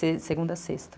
segunda à sexta.